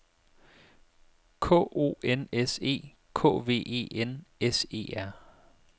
K O N S E K V E N S E R